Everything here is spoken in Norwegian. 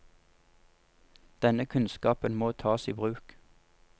Denne kunnskapen må tas i bruk.